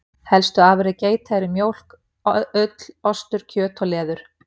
Helstu afurðir geita eru mjólk, ull, ostur, kjöt og leður.